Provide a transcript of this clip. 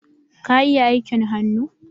Ka iya aikin hannu?